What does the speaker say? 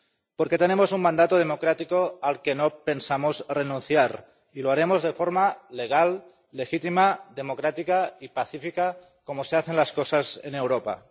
Porque tenemos un mandato democrático al que no pensamos renunciar y lo haremos de forma legal, legítima, democrática y pacífica, como se hacen las cosas en Europa.